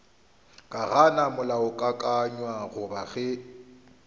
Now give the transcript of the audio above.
ka gana molaokakanywa goba ge